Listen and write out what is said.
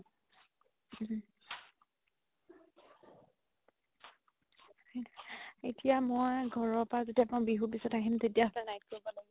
এতিয়া মই ঘৰৰ পা যেতিয়া বিহু পিছত আহিম তেতিয়া হ'লে night কৰিব লাগিব